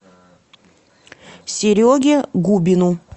сереге губину